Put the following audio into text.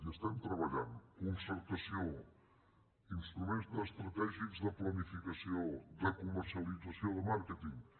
hi treballem concertació instruments estratègics de planificació de comercialització de màrqueting